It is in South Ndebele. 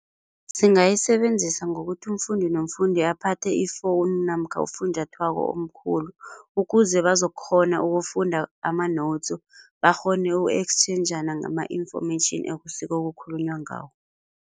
Singayisebenzisa ngokuthi umfundi nomfundi aphathe ifowunu namkha ufunjathwako omkhulu, ukuze bazokukghona ukufunda ama-notes, bakghone uku-ekstjhenjana ngama-information ekusuke kukhulunywa ngawo.